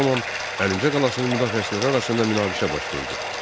Bu zaman Əlincə qalasının müdafiəçiləri arasında münaqişə baş verdi.